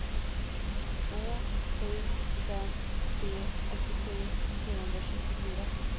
två sju fem tre åttiosju sjuhundratjugofyra